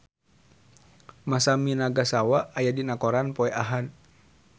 Masami Nagasawa aya dina koran poe Ahad